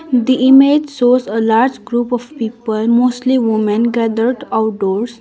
the image shows a large group of people mostly women gathered outdoors.